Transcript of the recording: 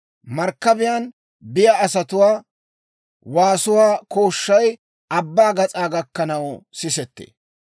Markkabiyaan biyaa asatuwaa waasuwaa kooshshay abbaa gas'aa gakkanaw sisettee.